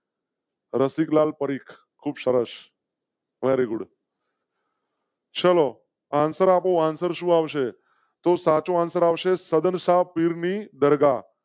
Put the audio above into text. રસિકલાલ પરીખ ખૂબ સરસ. very good . ચલો answer આપો answer શું આવશે તો સાચો આવશે સદન શાહ પીરની દરગાહ